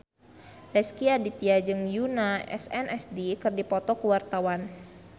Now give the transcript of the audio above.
Rezky Aditya jeung Yoona SNSD keur dipoto ku wartawan